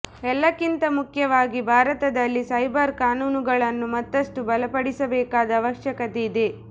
ಎಲ್ಲಕ್ಕಿಂತ ಮುಖ್ಯವಾಗಿ ಭಾರತದಲ್ಲಿ ಸೈಬರ್ ಕಾನೂನುಗಳನ್ನು ಮತ್ತಷ್ಟು ಬಲಪಡಿಸಬೇಕಾದ ಅವಶ್ಯಕತೆ ಇದೆ